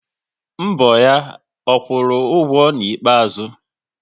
Mbọ ya, ọ kwụrụ ụgwọ n'ikpeazụ?